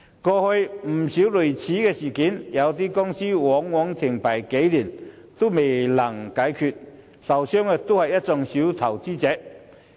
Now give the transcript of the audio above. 過去有不少類似事件，便是公司在停牌數年後仍未能解決問題，受損的都是小投資者。